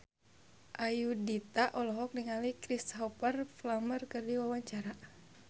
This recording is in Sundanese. Ayudhita olohok ningali Cristhoper Plumer keur diwawancara